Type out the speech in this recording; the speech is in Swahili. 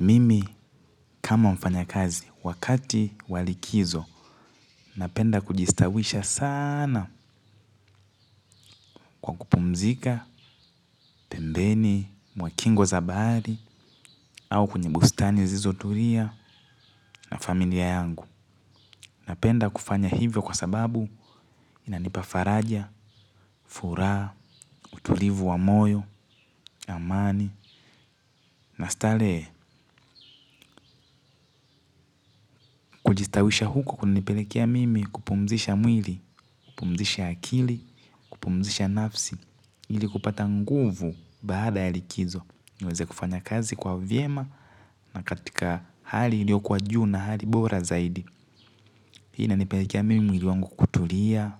Mimi kama mfanyakazi wakati wa likizo napenda kujistawisha sana kwa kupumzika. Pembeni, mwa kingo za bahari au kwenye bustani zilizotulia na familia yangu. Napenda kufanya hivyo kwa sababu inanipa faraja, furaha, utulivu wa moyo, amani na starehe kujistawisha huko kunanipelekea mimi kupumzisha mwili. Kupumzisha akili, kupumzisha nafsi ili kupata nguvu baada ya likizo niweze kufanya kazi kwa vyema na katika hali iliokuwa juu na hali bora zaidi pia inanipelekea mimi mwili wangu kutulia